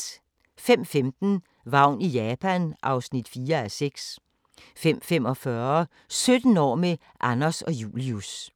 05:15: Vagn i Japan (4:6) 05:45: 17 år med Anders og Julius